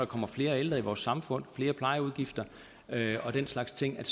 kommer flere ældre i vores samfund flere plejeudgifter og den slags ting